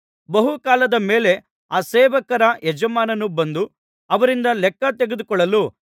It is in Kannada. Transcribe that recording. ಬಹುಕಾಲದ ಮೇಲೆ ಆ ಸೇವಕರ ಯಜಮಾನನು ಬಂದು ಅವರಿಂದ ಲೆಕ್ಕ ತೆಗೆದುಕೊಳ್ಳಲು